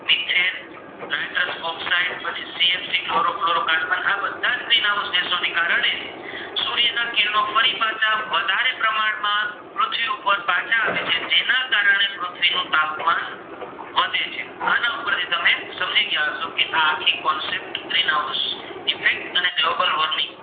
પાછી ગ્રીનહાઉસઇફેકટ અને ગ્લોબલવોર્મિંગ